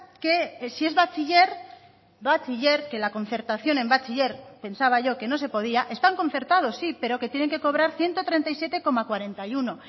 que si es bachiller bachiller que la concertación en bachiller pensaba yo que no se podía están concertados sí pero que tienen que cobrar ciento treinta y siete coma cuarenta y uno